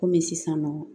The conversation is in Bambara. Komi sisan nɔ